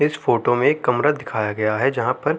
इस फोटो में एक कमरा दिखाया गया है जहा पर --